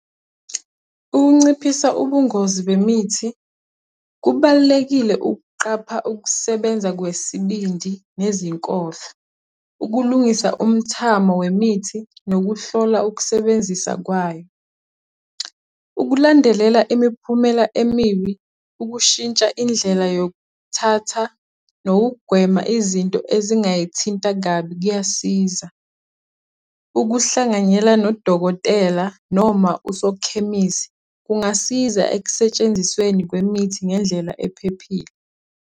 Ukunciphisa ubungozi bemithi. Kubalulekile ukuqapha ukusebenza kwesibindi nezinkohlo. Ukulungisa umthamo wemithi, nokuhlola ukusebenzisa kwayo. Ukulandelela imiphumela emibi, ukushintsha indlela yokuthatha, nokugwema izinto ezingayithinta kabi kuyasiza. ukuhlanganyela nodokotela noma usokhemisi, kungasiza ekusentshenzisweni kwemithi ngendlela ephephile.